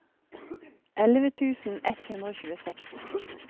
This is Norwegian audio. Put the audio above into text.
elleve tusen ett hundre og tjueseks